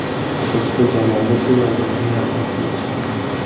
Biz bir jamoa bo‘lsak, albatta niyatimizga yetishamiz.